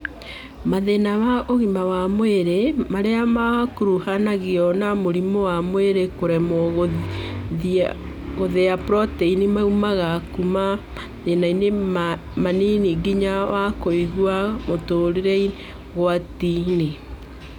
Mathĩna ma ũgima wa mwĩrĩ marĩa makuruhanagio na mũrimũ wa mwĩrĩ kũremwo gũthĩa proteini maumaga kuma mathĩna manini nginya wa kũiga mũtũrĩre ũgwati-inĩ